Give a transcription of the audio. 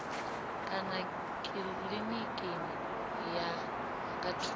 kana kilinikini ya nga thungo